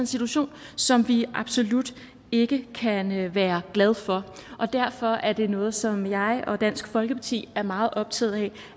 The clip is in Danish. situation som vi absolut ikke kan være glade for derfor er det noget som jeg og dansk folkeparti er meget optaget af